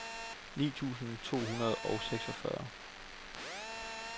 ni tusind to hundrede og seksogfyrre